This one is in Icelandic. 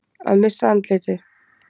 Að missa andlitið